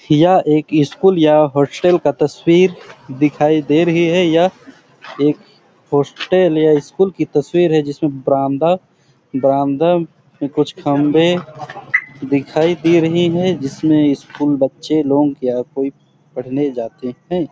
यह एक स्कूल या हॉस्टल का तस्वीर दिखाई दे रही है यह एक हॉस्टल या स्कूल की तस्वीर है जिसमे बरामदा बरामदा कुछ खंबे दिखाई दे रही है जिसमें स्कूल बच्चे लोग कोई पढने जाते है।